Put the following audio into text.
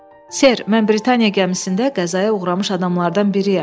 Ser, mən Britaniya gəmisində qəzaya uğramış adamlardan biriyəm.